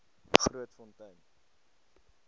grootfontein